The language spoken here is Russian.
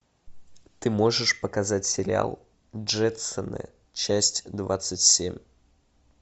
ты можешь показать сериал джетсоны часть двадцать семь